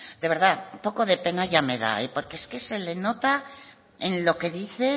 de verdad un poco de pena ya me da porque es que se le nota en lo que dice